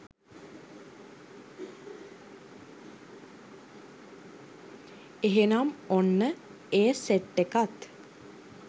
එහෙනම් ඔන්න ඒ සෙට් එකත්